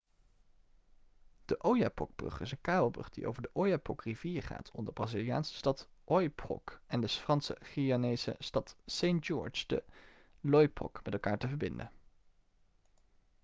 de oyapock-brug is een kabelbrug die over de oyapock-rivier gaat om de braziliaanse stad oiapoque en de frans-guyanese stad saint-georges de l'oyapock met elkaar te verbinden